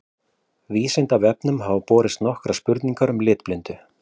Vísindavefnum hafa borist nokkrar spurningar um litblindu.